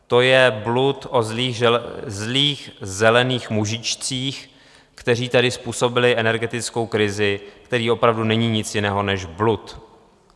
To je blud o zlých zelených mužíčcích, kteří tady způsobili energetickou krizi, který opravdu není nic jiného než blud.